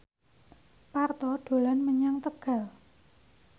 Parto dolan menyang Tegal